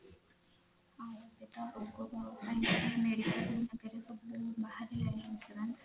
ବାହାରିଲାଣି insurance